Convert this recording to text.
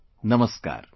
Namaskar